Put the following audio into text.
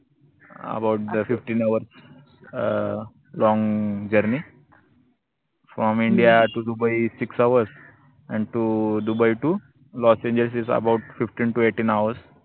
uh abovethefifteenhour um longjourney fromindia to Dubai sixhoursandto Dubai to Los Angeles abovefifteentoeighteenhours